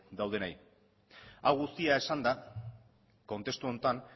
daudenei hau guztia esanda kontestu honetan